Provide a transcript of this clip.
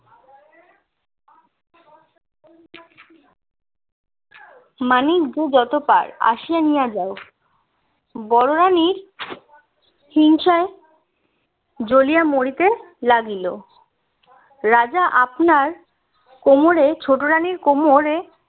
মানিক যে যত পায় আসিয়া নিয়া যায় বড়ো রানির হিংসায় জ্বলিয়া মরিতে লাগিল রাজা আপনার কোমরে ছোট রানির কোমরে